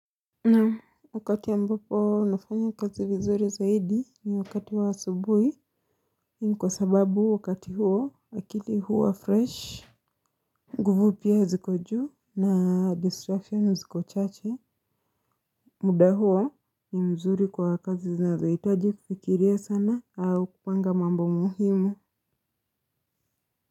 Naam wakati ambapo nafanya kazi vizuri zaidi ni wakati wa asubuhi ni kwa sababu wakati huo akili huwa fresh nguvu pia ziko juu na destruction ziko chache. Muda huo ni mzuri kwa kazi zinazohitaji kufikiria sana au kupanga mambo muhimu.